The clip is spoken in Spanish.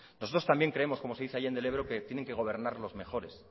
nosotros también creemos que como se dice allende el ebro que tienen que gobernar los mejores